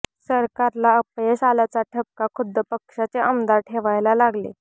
सरकारला अपयश आल्याचा ठपका खुद्द पक्षाचे आमदार ठेवायला लागले